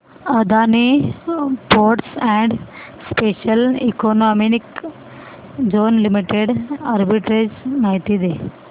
Adani ports and special economic zone limited arbitrage माहिती दे